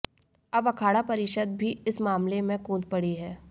अब अखाड़ा परिषद भी इस मामले में कूद पड़ी है